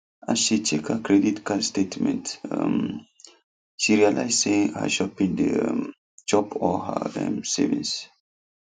as she check her credit card statement um she realize say her shopping dey um chop all her um savings